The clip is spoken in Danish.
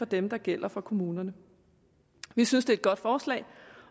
dem der gælder for kommunerne vi synes det er et godt forslag